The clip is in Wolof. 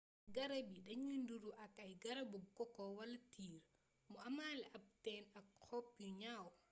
garab yii dañuy nuru ak ay garabu koko wala tiir mu amaale ab téeñ ak xob yu ñaw